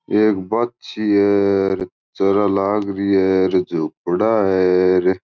एक बाछी है चर लाग रही है झुपडा है।